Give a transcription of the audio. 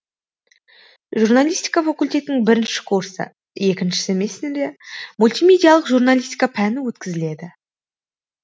журналистка факультетінің бірінші курсы екінші семестрінде мультимедиялық журналистика пәні өткізіледі